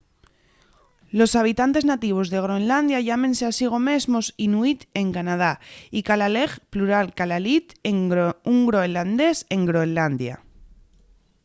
los habitantes nativos de groenlandia llámense a sigo mesmos inuit en canadá y kalaalleg plural kalaallit un groenlandés en groenlandia